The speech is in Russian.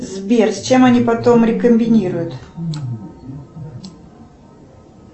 сбер с чем они потом рекомбинируют